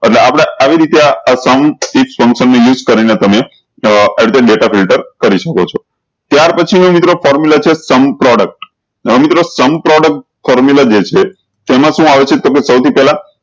એટલે આપળે આવી રીતે આ sum is નું use કરી ને તમે ડેટા ફિલ્ટર કરી શકો છો ત્યાર પછી હું મિત્રો sum product છે sum product હવે મિત્રો sum product formula જે છે તેમાં શું આવે છે તો કેહ સૌ થી પેહલા